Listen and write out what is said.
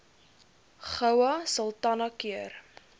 goue sultana keur